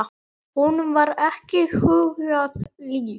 Honum var ekki hugað líf.